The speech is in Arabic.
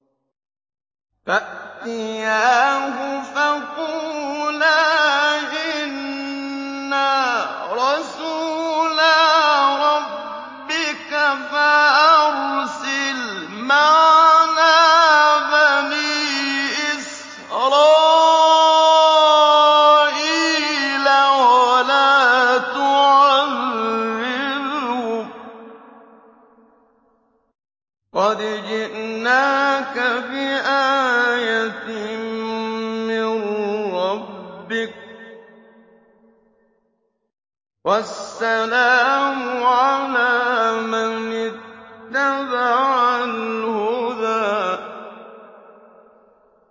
فَأْتِيَاهُ فَقُولَا إِنَّا رَسُولَا رَبِّكَ فَأَرْسِلْ مَعَنَا بَنِي إِسْرَائِيلَ وَلَا تُعَذِّبْهُمْ ۖ قَدْ جِئْنَاكَ بِآيَةٍ مِّن رَّبِّكَ ۖ وَالسَّلَامُ عَلَىٰ مَنِ اتَّبَعَ الْهُدَىٰ